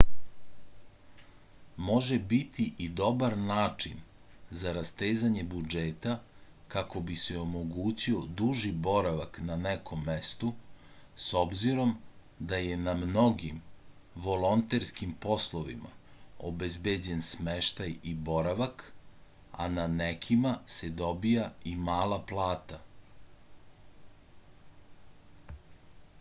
može biti i dobar način za rastezanje budžeta kako bi se omogućio duži boravak na nekom mestu s obzirom da je na mnogim volonterskim poslovima obezbeđen smeštaj i boravak a na nekima se dobija i mala plata